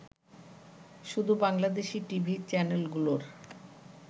শুধু বাংলাদেশি টিভি চ্যানেলগুলোর